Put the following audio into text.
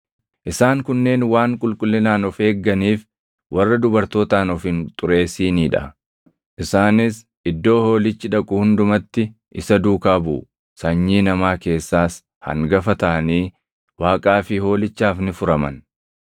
Isaan kunneen waan qulqullinaan of eegganiif warra dubartootaan of hin xureessinii dha. Isaanis iddoo Hoolichi dhaqu hundumatti isa duukaa buʼu. Sanyii namaa keessaas hangafa taʼanii Waaqaa fi Hoolichaaf ni furaman.